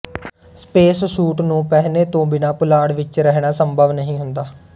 space suit ਨੂੰ ਪਹਿਨੇ ਤੋਂ ਬਿਨਾਂ ਪੁਲਾੜ ਵਿੱਚ ਰਹਿਣਾ ਸੰਭਵ ਨਹੀਂ ਹੁੰਦਾ